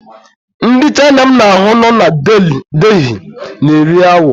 Ndị Chaina m na ha nọ na Delhi na-eri awọ.